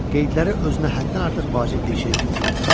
Qeydlərə özünə həddən artıq vacib bir şey kimi görünürdü.